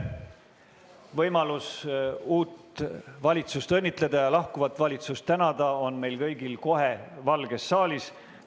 Võimalus uut valitsust õnnitleda ja lahkuvat valitsust tänada on meil kõigil kohe Valges saalis.